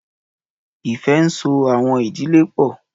Ìfẹ́ ńso àwọn ìdílé pọ̀.